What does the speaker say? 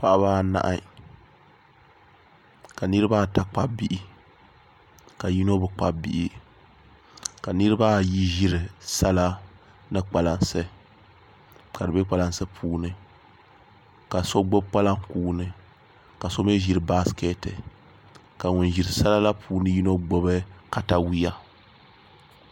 Paɣaba anahi ka niraba ata kpabi bihi ka yino bi kpabi Bihi ka niraba ayi ʒiri sala ni kpalansi ka di bɛ kpalansi puuni ka so gbubi kpalaŋ kuuni ka so mii ʒiri baskɛti ka ŋun ʒiri sala la puuni yino gbubi katawiya